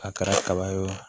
A kɛra kaba ye o